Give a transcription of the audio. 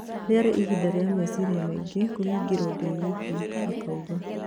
"Rĩarĩ ihinda rĩa meciria maingĩ kũhingĩrwo ndĩwiiki," akauga.